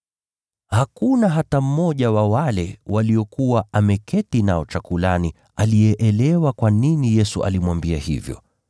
Hakuna hata mmoja wa wale waliokuwa wameketi naye mezani aliyeelewa kwa nini Yesu alimwambia hivyo.